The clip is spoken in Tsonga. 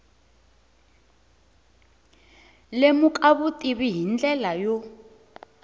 lemuka vutivi hi ndlela yo